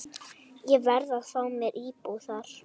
Ég verð að fá mér íbúð þar.